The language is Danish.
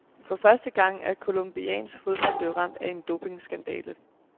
For første gang er colombiansk fodbold blevet ramt af en dopingskandale.